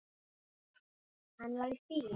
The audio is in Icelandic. Hann var í fýlu.